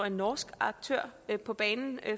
en norsk aktør på banen